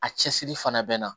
A cɛsiri fana bɛ n na